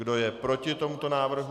Kdo je proti tomuto návrhu?